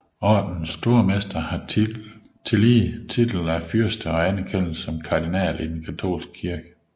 Ordenens Stormester har tillige titel af fyrste og anerkendes som kardinal i den katolske kirke